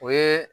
O ye